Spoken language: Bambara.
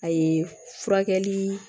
A ye furakɛli